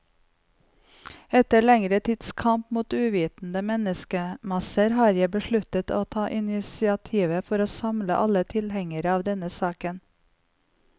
Etter lengre tids kamp mot uvitende menneskemasser, har jeg besluttet å ta initiativet for å samle alle tilhengere av denne saken.